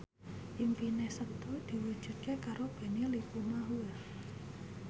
impine Setu diwujudke karo Benny Likumahua